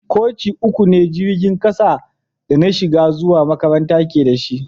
Koci uku ne jirigin kasan da na shiga zuwa makaranta ke da shi.